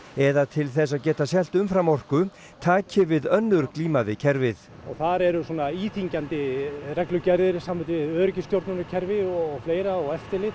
eða til þess að geta selt umframorku taki við önnur glíma við kerfið og þar eru svona íþyngjandi reglugerðir í sambandi við öryggisstjórnunarkerfi og fleira og eftirlit